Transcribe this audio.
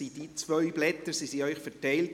Diese beiden Blätter wurden Ihnen verteilt.